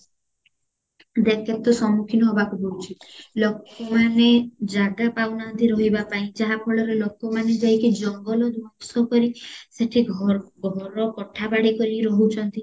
ଦେଖ କେତେ ସମ୍ମୁଖୀନ ହବାକୁ ପଡୁଚି ଲୋକମାନେ ଜାଗା ପାଉନାହାନ୍ତି ରହିବା ପାଇଁ ଯାହା ଫଳରେ ଲୋକ ମାନେ ଯାଇକି ଜଙ୍ଗଲ ଧ୍ଵଂସ କରି ସେଠି ଘର କୋଠା ବାଡି କରିକି ରାହୁଚନ୍ତି